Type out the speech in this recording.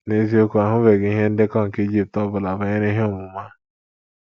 N’eziokwu, a hụbeghị ihe ndekọ nke Ijipt ọ bụla banyere ihe omume a.